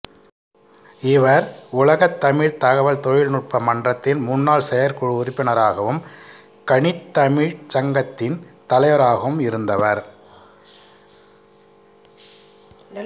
இவர் உலகத் தமிழ்த் தகவல் தொழில்நுட்ப மன்றத்தின் முன்னாள் செயற்குழு உறுப்பினராகவும் கணித்தமிழ்ச் சங்கத்தின் தலைவராகவும் இருந்தவர்